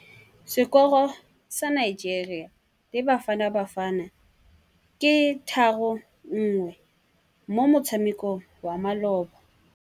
Sekôrô sa Nigeria le Bafanabafana ke 3-1 mo motshamekong wa malôba.